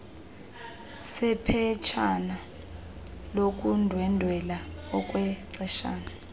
sephetshana lokundwendwela okwexeshana